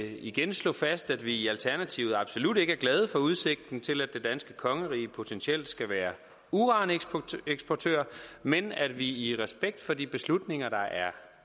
igen slå fast at vi i alternativet absolut ikke er glade for udsigten til at det danske kongerige potentielt skal være uraneksportør men at vi i respekt for de beslutninger der er